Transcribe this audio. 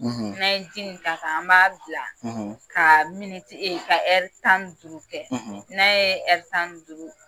; N' an ye ji in taa k'ɛ an b'a bila; ; ka miniti e ka tan ni duuru kɛ, ; n'a ye duuru